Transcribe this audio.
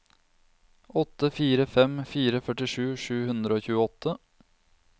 åtte fire fem fire førtisju sju hundre og tjueåtte